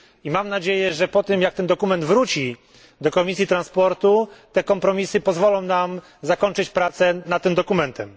Mam nadzieję, że po tym, jak dokument ten wróci do Komisji Transportu, kompromisy te pozwolą nam zakończyć pracę nad tym dokumentem.